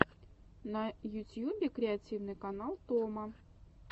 на ютьюбе креативный канал томо